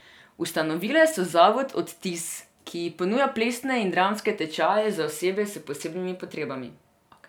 Ustanovile so zavod Odtiz, ki ponuja plesne in dramske tečaje za osebe s posebnimi potrebami.